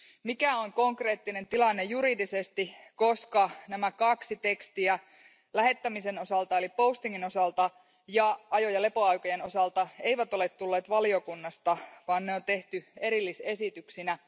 Mikä on konkreettinen tilanne juridisesti, koska nämä kaksi tekstiä lähettämisen eli osalta ja ajo ja lepoaikojen osalta eivät ole tulleet valiokunnasta, vaan ne on tehty erillisesityksinä?